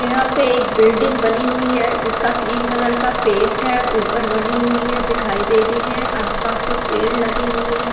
यहां पर एक बिल्डिंग बनी हुई है जिसका क्रीम कलर का पेंट है ऊपर बनी हुई है दिखाई दे रही है आसपास में पेड़ लगे हुए हैं।